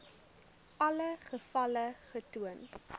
alle gevalle getoon